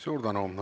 Suur tänu!